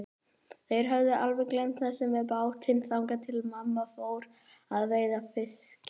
Þær höfðu alveg gleymt þessu með bátinn, þangað til mamma fór að verka fiskinn.